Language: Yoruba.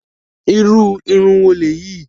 Irú irun wo lèyí?